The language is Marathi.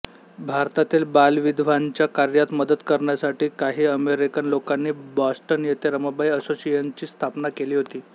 भारतातील बालविधवांच्या कार्यात मदत करण्यासाठी काही अमेरिकन लोकांनी बॉस्टन येथे रमाबाई असोसिएशनची स्थापना केली होती